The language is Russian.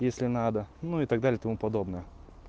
если надо ну и так далее и тому подобное